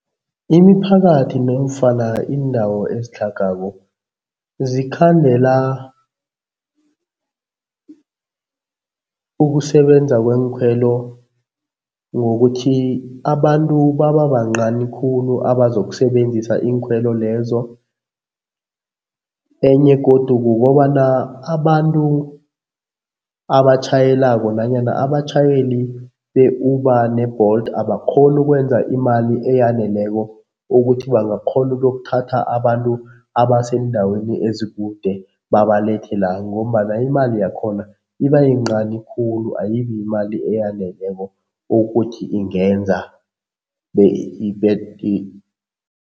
Imiphakathi nofana iindawo ezitlhagako zikhandela ukusebenza kweenkhwelo ngokuthi abantu baba bancani khulu abazokusebenzisa iinkhwelo lezo. Enye godu kukobana abantu abatjhayelako nanyana abatjhayeli be-Uber ne-Bolt abakghoni ukwenza imali eyaneleko ukuthi bangakghona ukuyokuthatha abantu abaseendaweni ezikude babalethe la ngombana imali yakhona iba yincani khulu, ayibi imali eyaneleko ukuthi ingenza